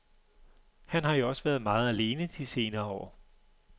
Han har jo også været meget alene de senere år.